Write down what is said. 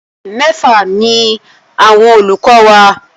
Mẹ́fà ni àwọn olùkọ wa.